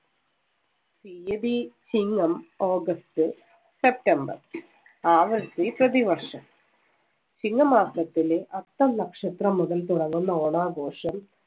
തിയതി Chingam august, september ആവർത്തി പ്രതിവർഷം. ചിങ്ങമാസത്തിലെ അത്തം നക്ഷത്രം മുതൽ തുടങ്ങുന്ന ഓണാഘോഷം